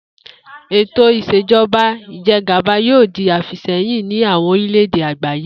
Ètò ìs̩èjo̩ba ìje̩gàba yóò di àfìsé̩yìn ní àwo̩n orílè̩-èdè àgbáyé